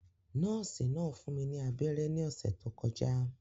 Nọ́ọ̀sì náà fún mi ní abẹ́rẹ́ ní ọ̀sẹ̀ tó kọjá